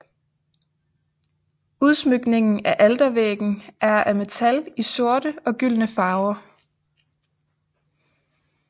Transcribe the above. Udsmykningen af altervæggen er af metal i sorte og gyldne farver